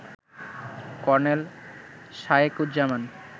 colonel Shayekuzzaman